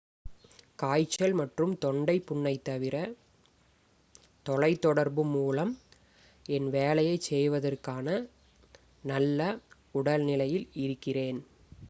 """காய்ச்சல் மற்றும் தொண்டை புண்ணைத் தவிர தொலைதொடர்பு மூலம் என் வேலையைச் செய்வதற்கான நல்ல உடல்நிலையில் இருக்கிறேன்.